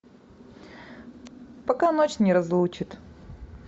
пока ночь не разлучит